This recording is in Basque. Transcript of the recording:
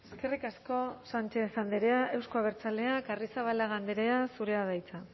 eskerrik asko sánchez andrea euzko abertzaleak arrizabalaga andrea zurea da hitza